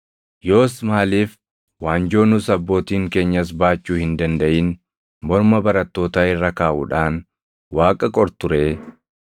Yoos maaliif waanjoo nus abbootiin keenyas baachuu hin dandaʼin morma barattootaa irra kaaʼuudhaan Waaqa qortu ree?